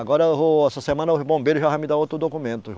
Agora eu vou, essa semana os bombeiro já vai me dar outro documento.